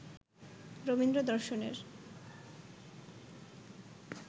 রবীন্দ্র-দর্শনের